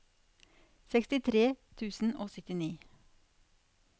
sekstitre tusen og syttini